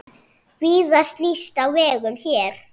Víða snýst á vegum hér.